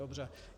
Dobře.